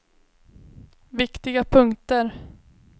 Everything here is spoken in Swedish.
viktiga punkter